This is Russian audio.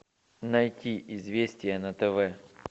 найти известия на тв